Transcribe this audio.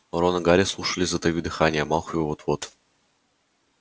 рон и гарри слушали затаив дыхание малфой вот-вот